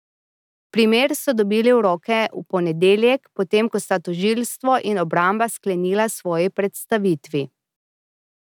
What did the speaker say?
Primer so dobili v roke v ponedeljek, potem ko sta tožilstvo in obramba sklenila svoji predstavitvi.